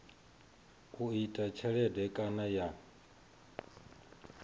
u ita tshelede kana ya